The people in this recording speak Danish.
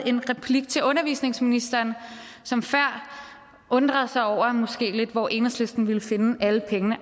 en replik til undervisningsministeren som før undrede sig over hvor enhedslisten måske ville finde alle pengene